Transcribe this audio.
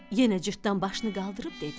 Yenə Cırtdan başını qaldırıb dedi.